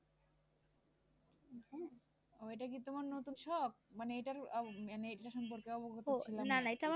ও এটা কি তোমার নতুন শখ মানে এটার আহ মানে এটা সম্পর্কে আবগত ছিলাম না।